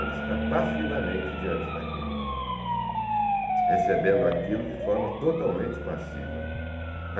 Ele está passivamente diante daquilo, recebendo aquilo de forma totalmente passiva.